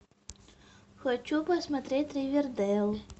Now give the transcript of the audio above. хочу посмотреть ривердейл